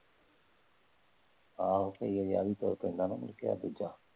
ਆਹੋ ਕਈ ਵਾਰੀ ਆਹੀ ਤੁਰ ਪੈਂਦਾ ਨਾ ਮੁੜ ਕੇ ਦੂਜਾ।